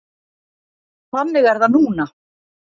Þannig er það núna.